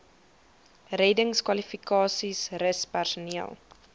reddingskwalifikasies rus personeel